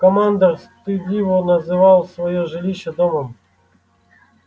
командор стыдливо называл своё жилище домом